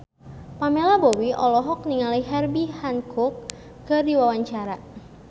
Pamela Bowie olohok ningali Herbie Hancock keur diwawancara